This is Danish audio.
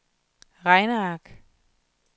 regneark